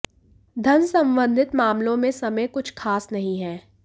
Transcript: धन संबंधित मामलों में समय कुछ खास नहीं है